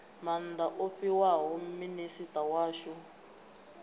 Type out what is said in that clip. maanda o fhiwaho minisita washu